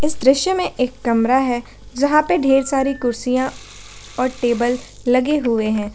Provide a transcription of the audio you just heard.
इस दृश्य में एक कमरा है जहां पे ढेर सारी कुर्सियां और टेबल लगे हुए हैं।